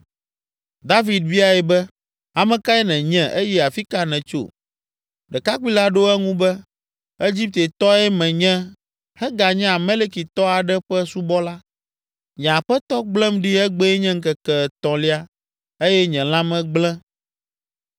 David biae be. “Ame kae nènye eye afi ka nètso?” Ɖekakpui la ɖo eŋu be, “Egiptetɔe menye heganye Amalekitɔ aɖe ƒe subɔla. Nye aƒetɔ gblẽm ɖi egbee nye ŋkeke etɔ̃lia eye nye lãme gblẽ.